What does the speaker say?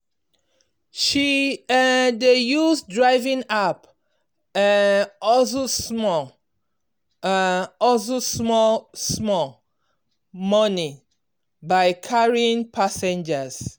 she um dey use driving app um hustle small um hustle small small money by carrying passengers.